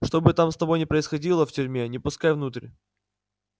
что бы там с тобой ни происходило в тюрьме не пускай внутрь